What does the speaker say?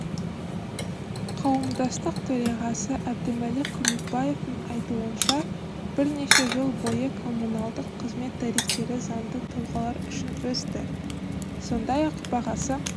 қауымдастық төрағасыәбдімәлік көмекбаевтың айтуынша бірнеше жыл бойы коммуналдық қызмет тарифтері заңды тұлғалар үшін өсті сондай-ақ бағасы